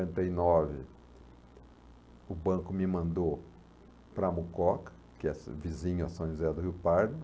cinquenta e nove, o banco me mandou para Mococa, que é vizinho a São José do Rio Pardo.